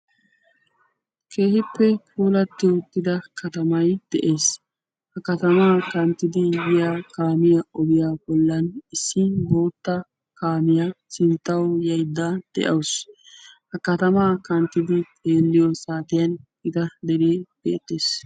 keehippe puulatti uttida katamay de'es. ha kanttidi biya ogiya bollan issi guutta kaamiya sinttawu yayidda de'awusu. ha katamaa kanttidi xeelliyo saatiyan gita dere beettes.